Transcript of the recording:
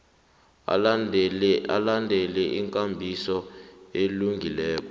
alandele ikambiso elungileko